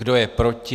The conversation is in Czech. Kdo je proti?